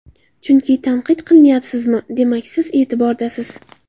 Chunki tanqid qilinyapsizmi, demak siz e’tibordasiz.